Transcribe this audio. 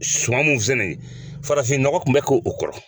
Suma min filɛ nin ye, farafinnɔgɔ tun bɛ kɛ o kɔrɔ